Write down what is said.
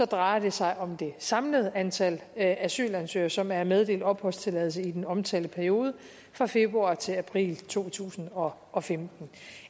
drejer det sig om det samlede antal asylansøgere som er meddelt opholdstilladelse i den omtalte periode fra februar til april to tusind og og femten